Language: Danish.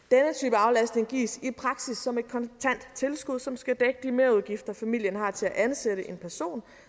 aflastning gives i praksis som et kontant tilskud som skal dække de merudgifter familien har til at ansætte en person